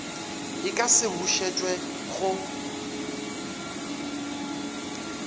e ka se bušetšwe go